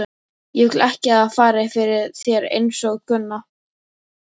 Ég vil ekki að það fari fyrir þér einsog Gunna.